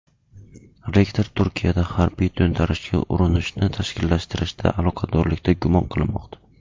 Rektor Turkiyada harbiy to‘ntarishga urinishni tashkillashtirishda aloqadorlikda gumon qilinmoqda.